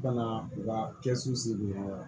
Ka na u ka kɛsu sigi wa